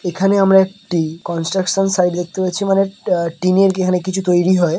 এখানে আমরা একটি কনস্ট্রাকশন সাইড দেখতে পেয়েছি মানে টিনের এখানে কিছু তৈরি হয় ।